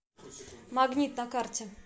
магнит на карте